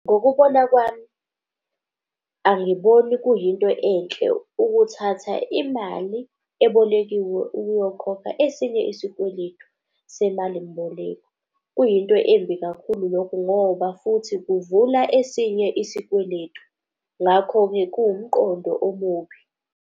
Ngokubona kwami, angiboni kuyinto enhle ukuthatha imali ebolekiwe ukuyokhokha esinye isikweletu semalimboleko. Kuyinto embi kakhulu lokho ngoba futhi kuvula esinye isikweletu. Ngakho-ke kuwumqondo omubi.